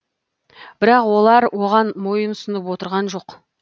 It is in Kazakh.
бірақ олар оған мойынсұнып отырған жоқ